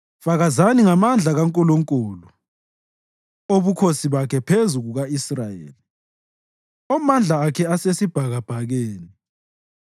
Fakazani ngamandla kaNkulunkulu, obukhosi bakhe buphezu kuka-Israyeli; omandla akhe asesibhakabhakeni.